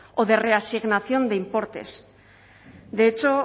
o de reasignación de importes de hecho